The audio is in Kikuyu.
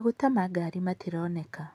Maguta ma ngari matironekana.